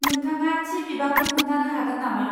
नोंथाङा थि बिबांखौ खोन्थानो हागोन नामा?